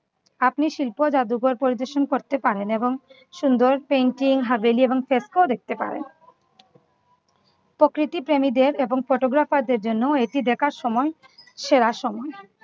আপনি শিল্প জাদুকর পরিবেশন করতে পারেন এবং সুন্দর painting হাভেলি এবং দেখতে পারেন। প্রকৃতিপ্রেমীদের এবং photographer দের জন্য এটি দেখার সময় সেরা সময়